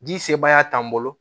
Ji sebaaya t'an bolo